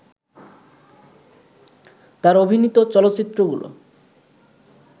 তার অভিনীত চলচ্চিত্রগুলো